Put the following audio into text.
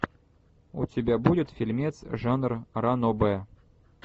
у тебя будет фильмец жанр ранобэ